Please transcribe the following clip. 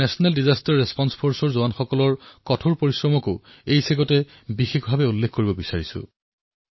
মই এনডিআৰএফ বাহিনীৰ কঠোৰ পৰিশ্ৰমক বিশেষভাৱে উল্লেখ কৰিব বিচাৰিছোঁ